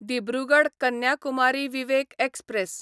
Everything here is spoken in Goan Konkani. दिब्रुगड कन्याकुमारी विवेक एक्सप्रॅस